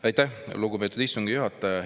Aitäh, lugupeetud istungi juhataja!